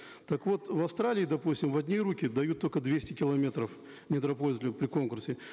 так вот в австралии допустим в одни руки дают только двести километров недропользователям при конкурсе